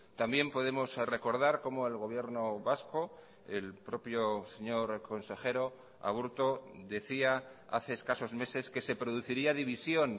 también podemos recordar cómo el gobierno vasco el propio señor consejero aburto decía hace escasos meses que se produciría división